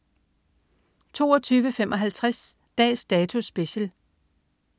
22.55 Dags Dato Special